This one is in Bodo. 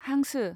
हांसो